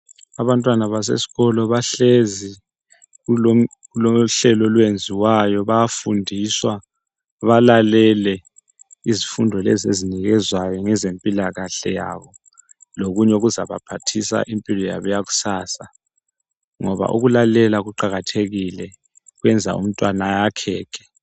Abantwana basesikolo bahlezi kulohlelo olwenziwayo. Bayafundiswa balele izifundo lezi ezinikezwayo ngezempilakahle yabo lokunye okuzabaphathisa impilo yabo yakusasa ngoba ukulalela kuqakathekile kwenza umntwana ayakheke